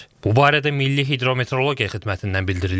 Bu barədə Milli Hidrometeorologiya Xidmətindən bildirilib.